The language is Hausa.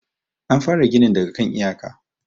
an fara ginin daga kan iyaka